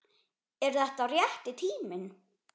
Er þetta rétti tíminn?